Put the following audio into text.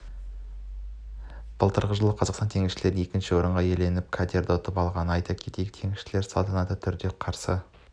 былтырғы жылы қазақстанның теңізшілері екінші орынды иеленіп катерін ұтып алғанын айта кетейік теңізшілерді салтанатты түрде қарсы